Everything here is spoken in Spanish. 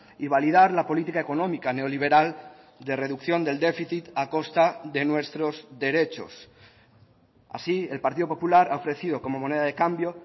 y validar la política económica neoliberal de reducción del déficit a costa de nuestros derechos así el partido popular ha ofrecido como moneda de cambio